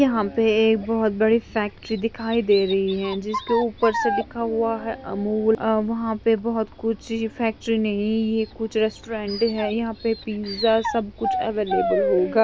यहाँ पे एक बहोत बड़ी फैक्ट्री दिखाई दे रही है जिसके ऊपर से लिखा हुआ है अमूल अ वहाँ पे बहोत कुछ ची फैक्ट्री नहीं ये कुछ रेस्टोरेंट है यहाँ पे पिज्जा सबकुछ अवैलबल होगा